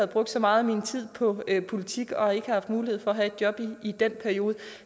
brugt så meget af min tid på politik og ikke haft mulighed for at have et job i den periode